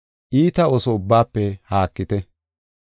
Iita ooso ubbaafe haakite.